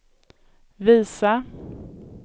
visa